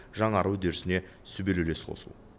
жаңару үдерісіне сүбелі үлес қосу